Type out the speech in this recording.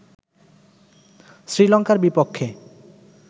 শ্রীলঙ্কার বিপক্ষে